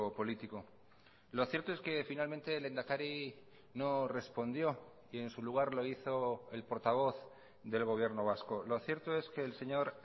político lo cierto es que finalmente el lehendakari no respondió y en su lugar lo hizo el portavoz del gobierno vasco lo cierto es que el señor